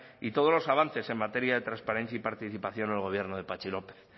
y todos los avances en materia de transparencia y participación en el gobierno de patxi lópez